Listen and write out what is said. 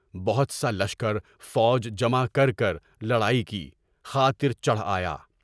بہت سا لشکر فوج جمع کر کر لڑائی کی خاطر چڑھ آیا۔